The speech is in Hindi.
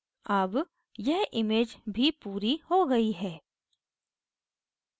अब यह image भी पूरी हो गयी है